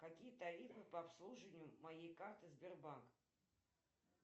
какие тарифы по обслуживанию моей карты сбербанк